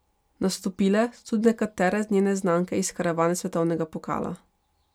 Nastopile so tudi nekatere njene znanke iz karavane svetovnega pokala.